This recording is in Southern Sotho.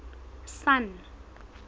sun